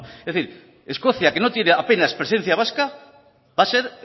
no en fin escocia que no tiene apenas presencia vasca va a ser